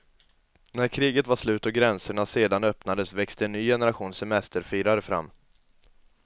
När kriget var slut och gränserna sedan öppnades växte en ny generation semesterfirare fram.